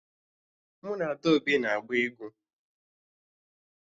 Mụ na Adaobi na-agba egwu